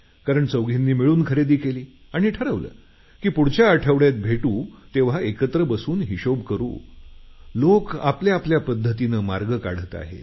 कारण चौघींनी मिळून खरेदी केली आणि ठरवलं की पुढच्या आठवड्यात भेटू तेव्हा एकत्र बसून हिशोब करू लोक आपआपल्या पद्धतीने मार्ग काढत आहेत